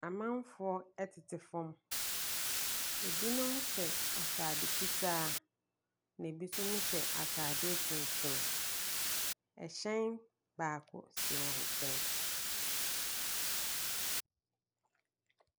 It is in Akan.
Amanfoɔ tete fam. Ɛbinom hyɛ atade fitaa. Na ɛbi nso mo hyɛ atadeɛ tuntum. Ɛhyɛn baako si wɔn nkyɛn.